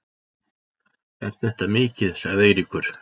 Er þetta mikið? sagði Eiríkur.